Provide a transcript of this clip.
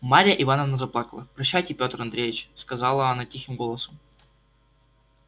марья ивановна заплакала прощайте пётр андреич сказала она тихим голосом